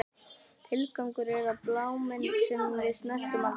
Tilgangur, er það bláminn sem við snertum aldrei?